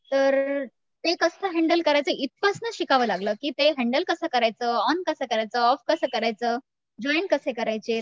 तर ते कसं हॅन्डल करायचं इथपासनं शिकावं लागलं की ते हॅन्डल कसं करायचं ऑन कसं करायचं? ऑफ कसं करायचं? जॉईन कसे करायचे?